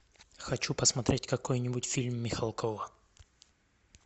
хочу посмотреть какой нибудь фильм михалкова